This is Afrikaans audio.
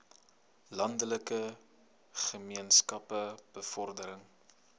landelike gemeenskappe bevordering